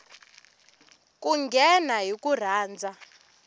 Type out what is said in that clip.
ku nghena hi ku rhandza